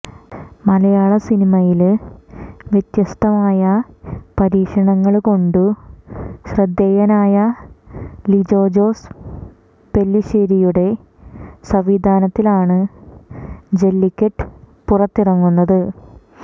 മലയാള സിനിമയില് വ്യത്യസ്ഥമായ പരീക്ഷണങ്ങള് കൊണ്ട് ശ്രദ്ധേയനായ ലിജോ ജോസ് പെല്ലിശേരിയുടെ സംവിധാനത്തിലാണ് ജെല്ലിക്കെട്ട് പുറത്തിറങ്ങുന്നത്